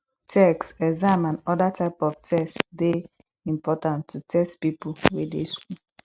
tests exam and oda types of test dey important to test pipo wey dey school